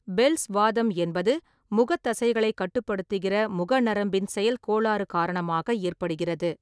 Bells வாதம் என்பது, முகத் தசைகளைக் கட்டுப்படுத்துகிறமுக நரம்பின் செயல்கோளாறு காரணமாக ஏற்படுகிறது.